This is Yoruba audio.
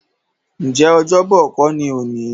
Ǹjẹ́ Ọ́jọ́bọ̀ kó ni òní?